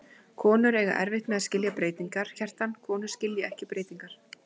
Konur eiga erfitt með að skilja breytingar, Kjartan, konur skilja ekki breytingar.